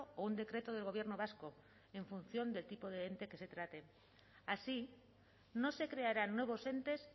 o un decreto del gobierno vasco en función del tipo de ente que se trate así no se crearán nuevos entes